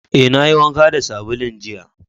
Eh, na yi wanka da sabulun jiya.